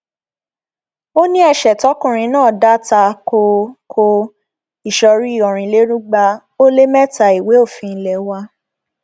ó ní ẹsẹ tọkùnrin náà dá ta ko ko ìsọrí ọrìnlérúgba ó lé mẹta ìwé òfin ilé wa